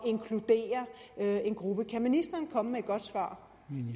inkludere en gruppe kan ministeren komme med et godt svar